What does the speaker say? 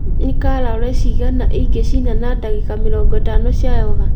Nĩ calorie cigana ingĩcina na ndagĩka mĩrongo ĩtano cia yoga